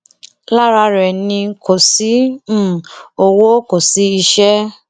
lára rẹ ni kò sí um owó kò sí iṣẹ